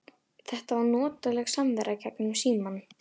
Þetta var notaleg samvera gegnum símann.